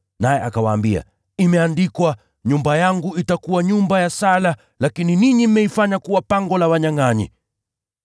Naye akawaambia, “Imeandikwa, ‘Nyumba yangu itakuwa nyumba ya sala,’ lakini ninyi mmeifanya kuwa ‘pango la wanyangʼanyi.’ ”